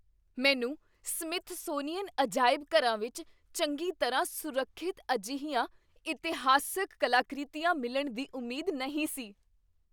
ਮੈਨੂੰ ਸਮਿਥਸੋਨੀਅਨ ਅਜਾਇਬ ਘਰਾਂ ਵਿੱਚ ਚੰਗੀ ਤਰ੍ਹਾਂ ਸੁਰੱਖਿਅਤ ਅਜਿਹੀਆਂ ਇਤਿਹਾਸਕ ਕਲਾਕ੍ਰਿਤੀਆਂ ਮਿਲਣ ਦੀ ਉਮੀਦ ਨਹੀਂ ਸੀ।